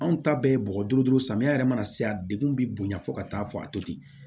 Anw ta bɛɛ ye bɔgɔ duuru samiya yɛrɛ mana se a degun bi bonya fo ka taa fɔ a to ten